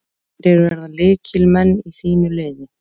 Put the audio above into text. Hverjir verða lykilmenn í þínu liði?